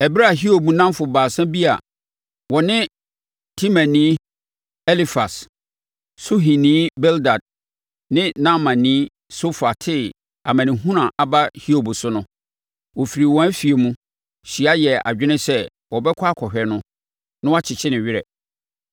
Ɛberɛ a Hiob nnamfo baasa bi a wɔne Temanni Elifas, + 2.11 Na Elifas yɛ Edomni a ɔfiri Teman. Suhini Bildad ne Naamani Sofar tee amanehunu a aba Hiob so no, wɔfirii wɔn afie mu, hyia yɛɛ adwene sɛ wɔbɛkɔ akɔhwɛ no na wɔakyekye ne werɛ.